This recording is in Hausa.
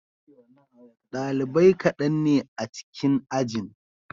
Dalibai kaɗan ne a cikin ajin.